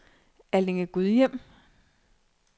Allinge-Gudhjem